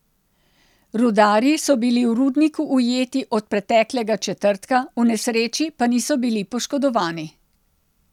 Rudarji so bili v rudniku ujeti od preteklega četrtka, v nesreči pa niso bili poškodovani.